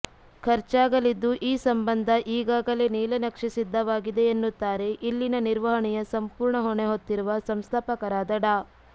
ಖರ್ಚಾಗಲಿದ್ದು ಈ ಸಂಬಂಧ ಈಗಾಗಲೇ ನೀಲನಕ್ಷೆ ಸಿದ್ಧವಾಗಿದೆ ಎನ್ನುತ್ತಾರೆ ಇಲ್ಲಿನ ನಿರ್ವರ್ಹಣೆಯ ಸಂಪೂರ್ಣ ಹೊಣೆ ಹೊತ್ತಿರುವ ಸಂಸ್ಥಾಪಕರಾದ ಡಾ